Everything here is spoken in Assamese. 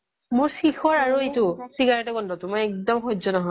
মোৰ শিখৰ আৰু এইটো cigarette ৰ গোন্ধ টো মোৰ একদম সহ্য় নহয়